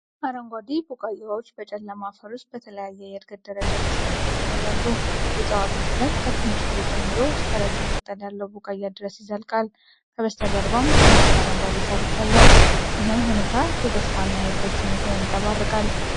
አረንጓዴ ቡቃያዎች በጨለማ አፈር ውስጥ በተለያየ የእድገት ደረጃ ተሰልፈው ይታያሉ። የእፅዋቱ እድገት ከትንሽ ፍሬ ጀምሮ እስከ ረጅም ቅጠል ያለው ቡቃያ ድረስ ይዘልቃል፤ ከበስተጀርባም ደማቅ አረንጓዴ ሣር ይታያል። ይህም ሁኔታ የተስፋና የእድገት ስሜትን ያንጸባርቃል።